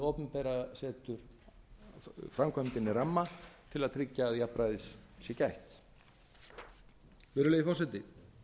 opinbera setur framkvæmdinni ramma til að tryggja að jafnræðis sé gætt virðulegi forseti